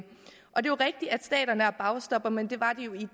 er rigtigt at staterne er bagstoppere men det var de jo i